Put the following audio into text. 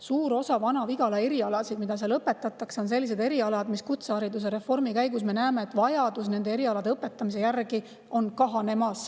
Suur osa erialasid, mida Vana-Vigalas õpetatakse, on sellised, mille puhul me kutsehariduse reformi käigus näeme, et vajadus nende erialade õpetamise järgi on kahanemas.